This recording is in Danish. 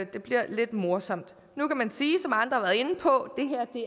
bliver lidt morsomt nu kan man sige som andre har været inde på